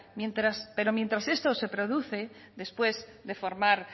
pero mientras esto se produce después de formar